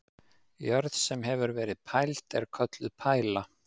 Jörð, sem hefur verið pæld er kölluð pæla.